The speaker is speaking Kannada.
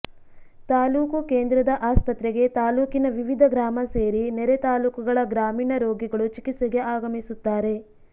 ತಾಲೂಕು ಕೇಂದ್ರದ ಆಸ್ಪತ್ರೆಗೆ ತಾಲೂಕಿನ ವಿವಿಧ ಗ್ರಾಮ ಸೇರಿ ನೆರೆ ತಾಲೂಕುಗಳ ಗ್ರಾಮೀಣ ರೋಗಿಗಳು ಚಿಕಿತ್ಸೆಗೆ ಆಗಮಿಸುತ್ತಾರೆ